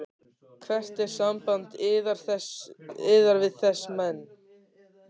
Hvert er samband yðar við þessa menn?